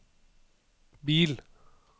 bil